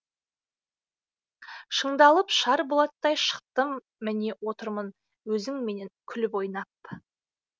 шыңдалып шар болаттай шықтым міне отырмын өзіңменен күліп ойнап